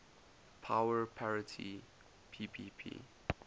power parity ppp